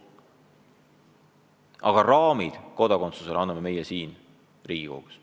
Aga raamid kodakondsusele anname meie siin Riigikogus.